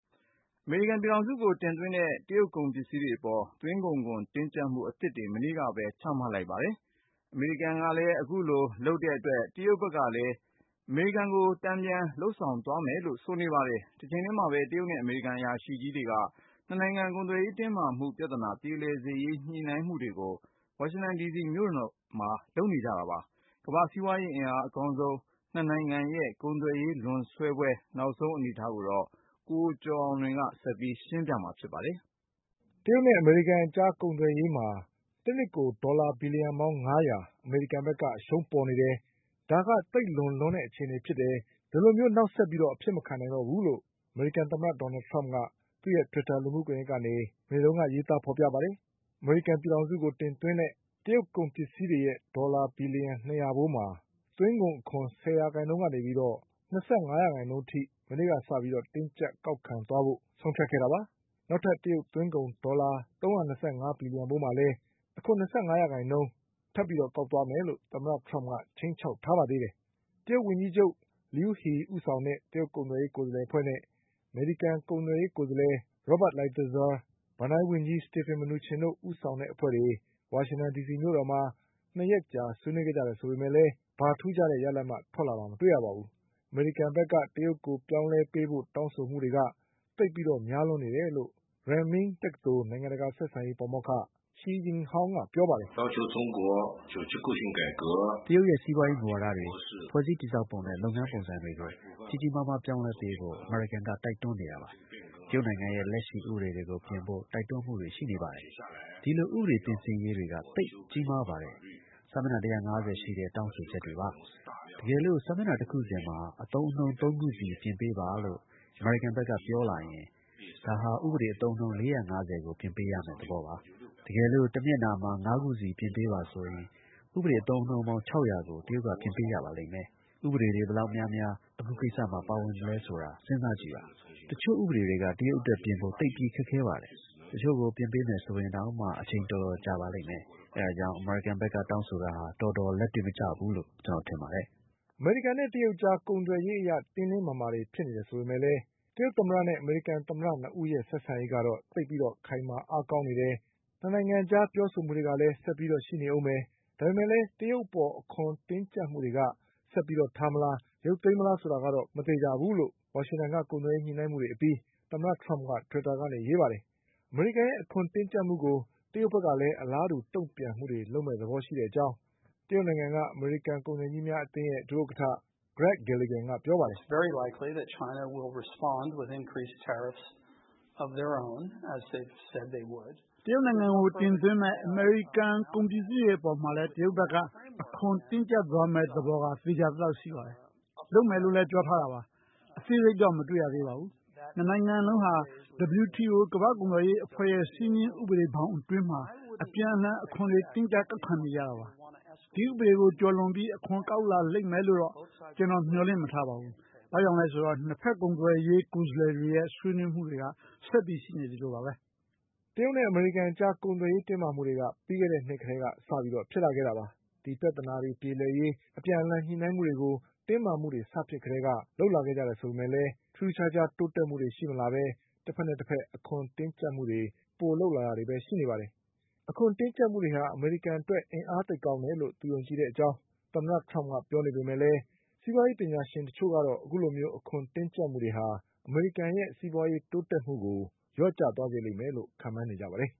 အမေရိကန်ပြည်ထောင်စုကို တင်သွင်းတဲ့ တရုတ်ကုန်ပစ္စည်းတွေအပေါ် သွင်းကုန်ခွန်တင်းကျပ်မှုအသစ်တွေ မနေ့ကပဲ ချမှတ်လိုက်ပါတယ်။ အမေရိကန်က အခုလိုလုပ်တဲ့အတွက် တရုတ်ဘက်ကလည်း အမေရိကန်ကို တန်ပြန်လုပ်ဆောင်သွားမယ်လို့ ဆိုနေပါတယ်။ တချိန်တည်းမှာပဲ တရုတ်နဲ့ အမေရိကန်အရာရှိကြီးတွေက ၂နိုင်ငံ ကုန်သွယ်ရေးတင်းမာမှုပြ ဿနာ ပြေလည်ရေး ညှိနှိုင်းမှုတွေကို ဝါရှင်တန်ဒီစီမြို့တော်မှာ လုပ်နေကြတာပါ။ ကမ္ဘာ့စီးပွါးရေးအားအကောင်းဆုံး ၂နိုင် ငံရဲ့ ကုန်သွယ်ရေး လွန်ဆွဲပွဲနောက်ဆုံးအနေအထားကို ကိုကျော်အောင်လွင် ဆက်ပြီးရှင်းပြပါလိမ့်မယ်။ တရုတ်နဲ့ အမေရိကန်အကြား ကုန်သွယ်ရေးမှာ တနှစ်ကို ဒေါ်လာဘီလျံ ပေါင်း ၅၀၀ အမေရိကန်ဘက်က အရှုံးပေါ်နေတယ်။ ဒါကသိပ်လွန်လွန်းတဲ့ အခြေအနေဖြစ်တယ်။ ဒီလိုမျိုး နောက်ဆက်ပြီး အဖြစ်မခံနိုင်တော့ဘူးလို့ အမေရိကန် သမ္မတ ဒေါ်နလ်ထရမ့်က သူ့ရဲ့တွစ်တာလူမှုကွန်ယက်ကနေ မနေ့တုန်းက aရးသားဖေါ်ပြပါတယ်။ အမေရိကန်ပြည်ထောင်စုကို တင်သွင်းတဲ့ တရုတ်ကုန်ပစ္စည်းတွေရဲ့ ဒေါ်လာဘီလျံ ၂၀၀ဖိုး မှာ သွင်းကုန်ခွန် ၁၀ ရာ ခိုင်နှုန်းကနေ ၂၅ရာခိုင်နှုန်းအထိ မနေ့ကစပြီး တင်းကျပ်ကောက်ခံသွားဖို့ ဆုံးဖြတ်ခဲ့တာပါ။ နောက်ထပ်တရုတ်သွင်းကုန်ဒေါ်လာ ၃၂၅ဘီလျံ ဖိုးမှာလည်း အခွန်၂၅ ရာခိုင်နှုန်းထပ်ကောက်သွားမယ်လို့ သမ္မတထရမ့်က ခြိမ်းခြောက်ထားပါသေးတယ်။ တရုတ်ဒုဝန်ကြီးချုပ် Liu He ဦးဆောင်တဲ့ တရုတ်ကုန်သွယ်ရေး ကိုယ်စားလှယ်အဖွဲ့နဲ့ အမေရိကန်ကုန်သွယ်ရေးကိုယ်စားလှယ် Robert Lighthizer၊ ဘဏ္ဍာရေးဝန်ကြီး Steven Mnuchin တို့ဦးဆောင်တဲ့အဖွဲ့တွေ ဝါရှင်တန်ဒီစီမြို့တော်မှာ ၂ရက်ကြာဆွေးနွေးခဲ့ကြတယ် ဆိုပေမဲ့လည်း ထူးခြားတဲ့ ရလဒ်ဘာမှထွက်လာတာ မတွေ့ရပါဘူး။ အမေရိကန်ဘက်ကတရုတ်ကိုပြောင်းလဲပေးဖို့ တောင်းဆိုတာတွေက သိပ်ပြီးများလွန်းနေတယ်လို့ Renmin တက္ကသိုလ်နိုင်ငံတကာဆက်ဆံရေး ပါမောက္ခ Shi Yinhong ကပြောပါတယ်။ "တရုတ်ရဲ့စီးပွါးရေးမူဝါဒတွေ၊ ဖွဲ့စည်းတည်ဆောက်ပုံနဲ့ လုပ်ငန်းပုံစံတွေကို ကြီးကြီးမားမားပြောင်းလဲပေးဖို့ အမေရိကန် က တိုက်တွန်းနေတာပါ။ တရုတ်နိုင်ငံရဲ့လက်ရှိဥပဒေတွေကို ပြင်ဖို့ တိုက်တွန်းမှုတွေ ရှိနေပါတယ်။ ဒီလိုဥပဒေပြင်ဆင်ရေးတွေက သိပ်ကြီးမားပါတယ်။ စာမျက်နှာ၁၅၀ရှိတဲ့တောင်းဆိုချက်တွေပါ။ တကယ်လို့ စာမျက်နှာတခုစီမှာ အသုံးအနှုန်း ၃ခုဆီ ပြင်ပေးပါလို့ အမေရိကန်ဘက်က ပြောလာရင် ဒါဟာ ဥပဒေအသုံးအနှုန်း ၄၅၀ကိုပြင်ပေးရမယ့်သဘောပါ။ တကယ်လို့ တမျက်နှာမှာ ငါးခုစီပြင်ပေးဆိုရင် ဥပဒေအသုံးအနှုန်းပေါင်း ၆၀၀ ကိုတရုတ်က ပြင်ပေးရပါလိမ့်မယ်။ ဥပဒေ တွေဘယ်လောက်များများ အခုကိစ္စမှာ ပါဝင်နေသလဲဆိုတာ စဉ်းစားကြည့်ပါ။ တချို့ဥပဒေတွေက တရုတ်အတွက်ပြင်ဖို့ သိပ်ပြီးခက်ခဲပါတယ်။ တချို့ကိုပြင်ပေးမယ်ဆိုရင်တောင်မှ အချိန်တော်တော်ကြာပါလိမ့်မယ်။ အဲဒါကြောင့် အမေရိကန် ဘက်ကတောင်းဆိုတာဟာ တော်တော်လက်တွေ့မကျဘူးလို့ ကျနော်ထင်ပါတယ်။" အမေရိကန်နဲ့တရုတ်အကြားကုန်သွယ်ရေးအရ တင်းတင်းမာမာတွေ ဖြစ်နေတယ်ဆိုပေမဲ့လည်း တရုတ်သမ္မတနဲ့ အမေရိကန်သမ္မတ ၂ဦးရဲ့ဆက်ဆံရေးကတော့ သိပ်ပြီးခိုင်မာအားကောင်းနေတယ်။ ၂နိုင်ငံအကြားပြောဆိုမှုတွေကလည်းဆက်ပြီး ရှိနေဦးမယ် ဆိုပေမဲ့ တရုတ်အပေါ်အခွန်တင်းကျပ်မှုတွေက ဆက်ပြီးထားမလား ရုပ်သိမ်းမလားဆိုတာကတော့ မသေချာ ဘူးလို့ ဝါရှင်တန်က ကုန်သွယ်ရေးညှိနှိုင်းမှုတွေအပြီး သမ္မတထရမ့်က တွီစ်တာကနေ ရေးပါတယ်။ အမေရိကန်ရဲ့အခွန် တင်းကျပ်မှုကို တရုတ်ဘက်က အလားတူတုန့်ပြန်မှုတွေလုပ်မယ့်သဘောရှိတဲ့အကြောင်း တရုတ်နိုင်ငံက အမေရိကန် ကုန်သည်ကြီးများအသင်းရဲ့ ဒုဥက္ကဌ Grag Gilligan ကပြောပါတယ်။ "တရုတ်နိုင်ငံကို တင်သွင်းတဲ့ အမေရိကန် ကုန်ပစ္စည်းတွေအပေါ်မှာလည်း တရုတ်ဘက်က အခွန်တွေ တင်းကျပ်သွားမယ့် သဘောက သေချာသလောက်ရှိပါတယ်။ လုပ်မယ်လို့လည်းပြောထားတာပါ။ အသေးစိတ်တော့မတွေ့ရသေးပါဘူး။ ၂နိုင်ငံလုံးက WTO ကမ္ဘာ့ကုန်သွယ်ရေးအဖွဲ့ရဲ့စည်းမျဉ်းဥပဒေတွေအတွင်းမှာ အပြန်အလှန်အခွန်တွေတင်းကျပ် ကောက်ခံနေကြတာပါ။ ဒီဥပဒေတွေကိုကျော်လွန်ပြီး အခွန်ကောက်လာလိမ့်မယ်လို့တော့ ကျနော်မျှော်လင့်မထားပါဘူး။ ဘာကြောင့်လည်းဆိုတော့ ၂ဘက်ကုန်သွယ်ရေးကိုယ်စားလှယ်တွေရဲ့ဆွေးနွေးမှုတွေက ဆက်ပြီးရှိနေသေးလို့ပါပဲ။" တရုတ်နဲ့ အမေရိကန်အကြား ကုန်သွယ်ရေး တင်းမာမှုတွေက ပြီးခဲ့တဲ့နှစ်ကတည်းကစဖြစ်လာတာပါ။ ဒီပြဿနာ ပြေလည်ရေး အပြန်အလှန်ညှိနှိုင်းမှုတွေကို တင်းမာမှုတွေစဖြစ်ကတည်းက လုပ်လာခဲ့ကြတယ်ဆိုပေမဲ့လည်း ထူးထူးခြားခြား တိုးတက်မှုတွေရှိမလာပဲ တဘက်နဲ့တဘက် အခွန်တင်းကျပ်မှုတွေ ပိုလုပ်လာတာတွေပဲ ရှိနေပါတယ်။ အခွန်တင်း ကျပ်မှုတွေဟာ အမေရိကန်အတွက် အင်အားသိပ်ကောင်းတယ်လို့ သူယုံကြည်တဲ့အကြောင်းသမ္မတထရမ့်က ပြောနေပေမဲ့ တချို့စီးပွါးရေး ပညာရှင်တွေကတော့ အခုလိုအခွန်တင်းကျပ်မှုတွေက အမေရိကန်ရဲ့ စီးပွါးရေးတိုးတက်မှုကို လျော့ကျသွားစေလိမ့်မယ်လို့ ခန့်မှန်းနေကြပါတယ်